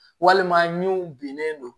Walima min bennen don